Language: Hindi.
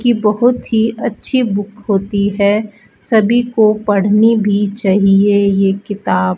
की बहुत ही अच्छी बुक होती है सभी को पढ़नी भी चाहिए ये किताब --